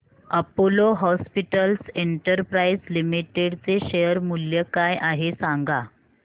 Apollo hospitals enterprise limited चे share मूल्य काय आहे सांगा